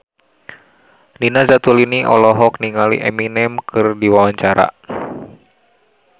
Nina Zatulini olohok ningali Eminem keur diwawancara